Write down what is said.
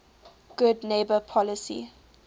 good neighbor policy